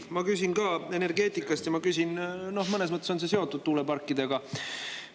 Ma küsin ka energeetika kohta ja mõnes mõttes on see seotud tuuleparkidega.